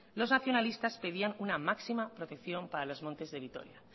los nacionalistas pedían una máxima protección para los montes de vitoria